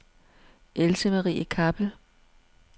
Else-Marie Kappel